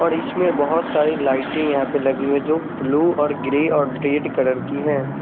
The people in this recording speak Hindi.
और इसमें बोहोत सारी लाइटे यहा पे लगी हुई है जो ब्लू और ग्रेरी और रेड कलर की है ।